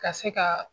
Ka se ka